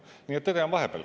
Nii et tõde on vahepeal.